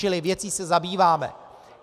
Čili věcí se zabýváme.